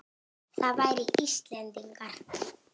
Það væru Íslendingar.